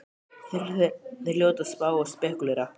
Þeir hljóta að spá og spekúlera!